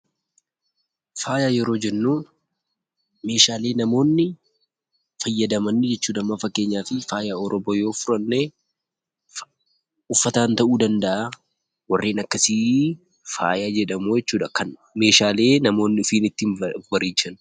Faaya yeroo jennu meeshaalee namoonni fayyadaman jechuu dha. Amma fakkeenyaaf, faaya Oromoo yoo furanne uffataan ta'uu danda'a. Warreen akkasii faaya jedhamu jechuu dha. Meeshaalee namoonni ittiin of bareechan.